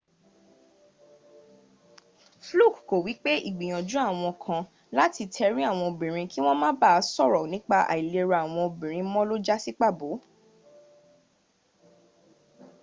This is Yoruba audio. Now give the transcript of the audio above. fluke ko wipe igbiyanju awon kan lati teri awon obinrin ki won ma ba soro nipa ailera awon obinrin mo lo jasi pabo